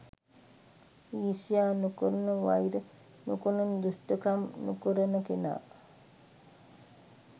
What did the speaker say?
ඊර්ෂ්‍යා නොකරන වෛර නොකරන දුෂ්ටකම් නොකරන කෙනා